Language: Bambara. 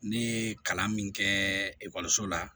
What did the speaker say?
Ne ye kalan min kɛ ekɔliso la